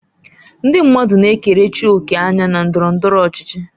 Ndị mmadụ na-ekerechi òkè anya na ndọrọ ndọrọ ọchịchị.